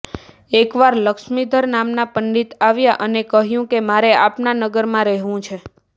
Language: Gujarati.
એકવાર લક્ષ્મીધર નામના પંડિત આવ્યા અને કહ્યું કે મારે આપના નગરમાં રહેવું છે